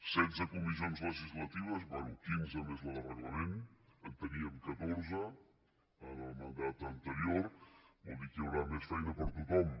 setze comissions legislatives bé quinze més la de reglament en teníem catorze en el mandat anterior vol dir que hi haurà més feina per a tothom